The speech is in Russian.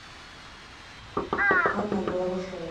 анна головашева